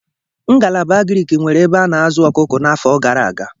Ngalaba Agrik nweere ebe a na-azụ ọkụkọ n'afọ gara aga.